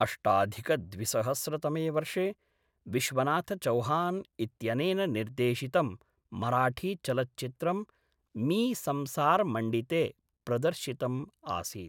अष्टाधिकद्विसहस्रतमे वर्षे विश्वनाथचौहान् इत्यनेन निर्देशितं मराठी चलच्चित्रं मी संसार मण्डिते प्रदर्शितम् आसीत्